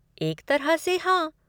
एक तरह से हाँ।